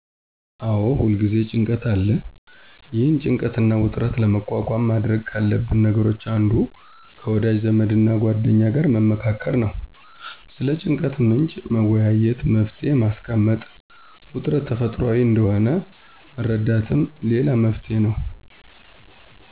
አዎ ሁልጊዜም ጭንቀት አለ። ይህንን ጭንቀትና ውጥረት ለመቋቋም ማድረግ ካለብን ነገሮች አንዱ ከወዳጅ ዘመድና ጓደኛ ጋር መመካከር ነው። ስለ ጭንቀቱ ምንጭ መወያየትና መፍትሔ ማስቀመጥ፣ ውጥረት ተፈጥሯዊ እንደሆነ መረዳትም ሌላው መፍትሔ ነው።